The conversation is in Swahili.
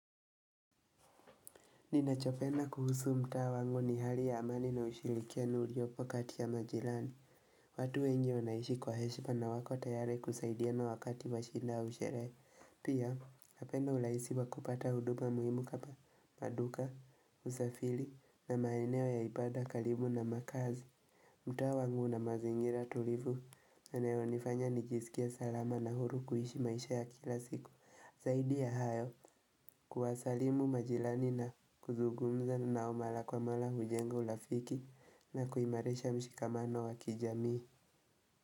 Ninachopenda kuhusu mtaa wangu ni hali ya amani na ushirikiano uliopo kati ya majirani. Watu wengi wanaishi kwa heshima na wako tayari kusaidiana wakati wa shida au sherehe. Pia, napenda urahisi wa kupata huduma muhimu kama maduka, usafiri na maeneo ya ibada karibu na makaazi. Mtaa wangu na mazingira tulivu, yanayo nifanya nijisikie salama na huru kuishi maisha ya kila siku. Zaidi ya hayo kuwasalimu majirani na kuzungumza nao mara kwa mara hujenga urafiki na kuimarisha mshikamano wa kijamii.